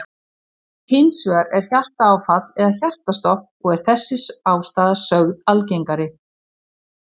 Hins vegar er hjartaáfall eða hjartastopp og er þessi ástæða sögð algengari.